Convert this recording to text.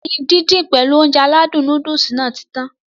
Ẹyin dídín pèlu Ounjẹ aládùn nóódùsì Nàá ti tan